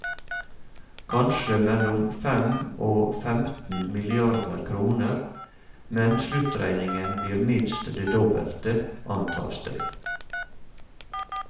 Kanskje mellom fem og femten milliarder kroner, men sluttregningen blir minst det dobbelte, antas det.